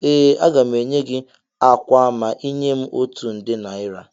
Ee, aga m enye gị ákwà a ma ị nye m otu nde naira